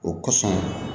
O kosɔn